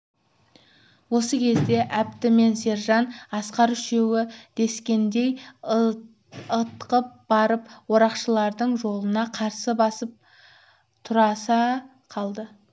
осы кезде әбді мен сержан асқар үшеуі дескендей ытқып барып орақшылардың жолына қарсы басып тұрыса қалды